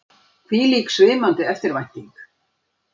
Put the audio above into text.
Hvílík svimandi eftirvænting!